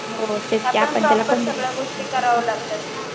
आपण प्रॉपर सगळ्या गोष्टी करावं लागतात ना.